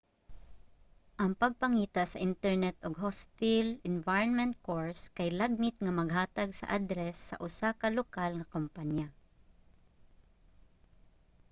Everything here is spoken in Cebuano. ang pagpangita sa internet og hostile environment course kay lagmit nga maghatag sa address sa usa ka lokal nga kompanya